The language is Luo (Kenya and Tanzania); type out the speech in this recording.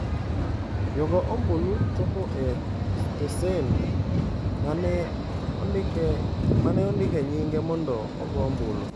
Jago ombulu chopo e stesen ma ne ondike nyinge mondo ogo ombulu.